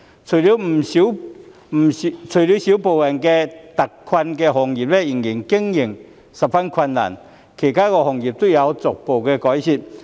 除了少部分特困行業的經營仍然十分困難外，其他行業都有逐步改善。